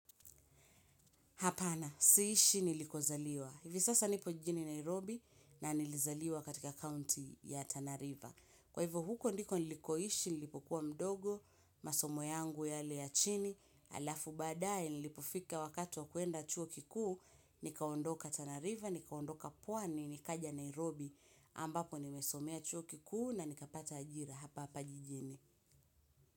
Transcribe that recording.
Hapana, siishi niliko zaliwa. Hivi sasa nipo jini Nairobi na nilizaliwa katika county ya Tana river. Kwa hivyo huko ndiko nilikoishi nilipo kuwa mdogo, masomo yangu yale ya chini, alafu baadaye nilipofika wakati wa kwenda chuo kikuu, nikaondoka Tana river, nikaondoka pwani, nikaja Nairobi ambapo nimesomea chuo kikuu na nikapata ajira hapa hapa jijini.